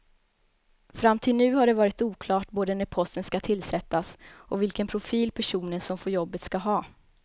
Fram till nu har det varit oklart både när posten ska tillsättas och vilken profil personen som får jobbet ska ha.